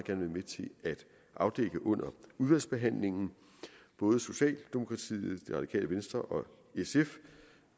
afdække det under udvalgsbehandlingen både socialdemokratiet det radikale venstre og sf